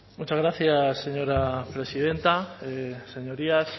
muchas gracias señora presidenta señorías